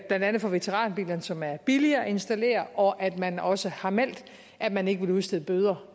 blandt andet veteranbiler som er billig at installere og at man også har meldt at man ikke vil udstede bøder